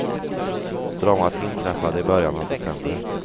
Dramat inträffade i början av december.